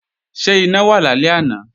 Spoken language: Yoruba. Ṣé iná wà lálẹ́ àná?